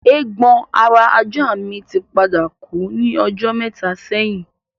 Eégbon ara ajá mi tí padà kú ní ọjọ́ mẹ́ta sẹ́yìn